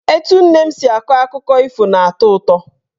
Etu nne m si akọ akụkọ ifo na-atọ ụtọ.